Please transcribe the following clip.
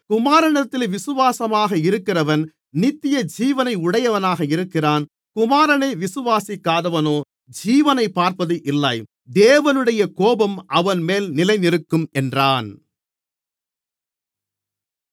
குமாரனிடத்தில் விசுவாசமாக இருக்கிறவன் நித்தியஜீவனை உடையவனாக இருக்கிறான் குமாரனை விசுவாசிக்காதவனோ ஜீவனைப் பார்ப்பதில்லை தேவனுடைய கோபம் அவன்மேல் நிலைநிற்கும் என்றான்